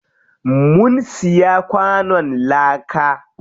Mun siya kwanon láka.